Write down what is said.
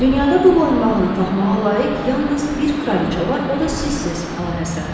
Dünyada bu boyunbağını taxmağa layiq yalnız bir kraliça var, o da sizsiz, əlahəzrət.